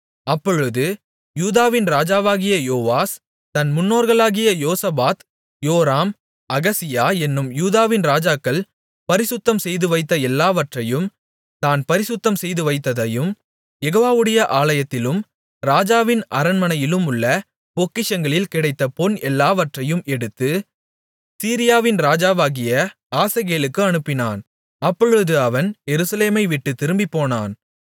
அப்பொழுது யூதாவின் ராஜாவாகிய யோவாஸ் தன் முன்னோர்களாகிய யோசபாத் யோராம் அகசியா என்னும் யூதாவின் ராஜாக்கள் பரிசுத்தம்செய்துவைத்த எல்லாவற்றையும் தான் பரிசுத்தம் செய்துவைத்ததையும் யெகோவாவுடைய ஆலயத்திலும் ராஜாவின் அரண்மனையிலுமுள்ள பொக்கிஷங்களில் கிடைத்த பொன் எல்லாவற்றையும் எடுத்து சீரியாவின் ராஜாவாகிய ஆசகேலுக்கு அனுப்பினான் அப்பொழுது அவன் எருசலேமைவிட்டுத் திரும்பிப்போனான்